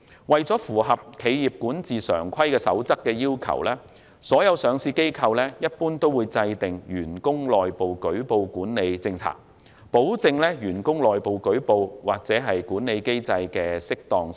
為符合《企業管治常規守則》的要求，所有上市機構一般也會制訂"員工內部舉報管理政策"，保證員工內部舉報或管理機制的適當性。